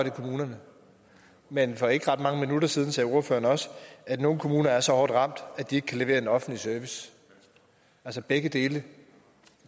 i kommunerne men for ikke ret mange minutter siden sagde ordføreren også at nogle kommuner er så hårdt ramt at de ikke kan levere en offentlig service altså begge dele